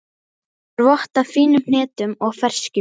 Hefur vott af fínum hnetum og ferskjum.